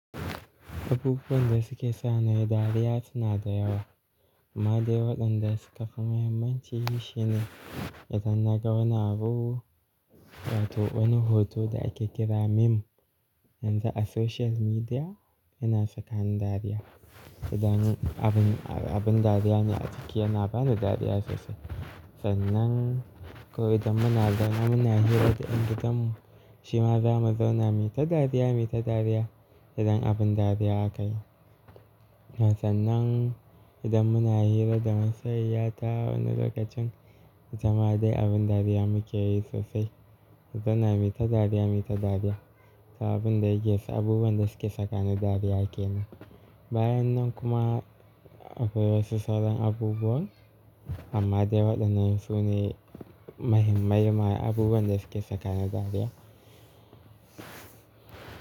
Abubuwan da suke sa na yi dariya suna da yawa, amma dai waɗanda suka fi muhimmanci shi ne idan naga wani abu wato wani hoto da ake kira meme yanzu a social media yana saka ni dariya. Idan abun, abin dariya ne a ciki yana ba ni dariya sosai. Sannan ko idan muna zaune muna hira da yan gidan mu shi ma za mu zauna mita dariya, mita dariya idan abin dariya aka yi. Sannan idan muna hira da masoyiya ta wani lokacin, jama'a dai abin dariya muke yi sosai. Mu zauna mita dariya, mita dariya. Sa abin da yake sa abubuwan da suke sakani dariya ke nan. Bayan nan kuma akwai wasu sauran abubuwan, amma dai waɗannan su ne mahimmai ma abubuwan da suke sakani dariya.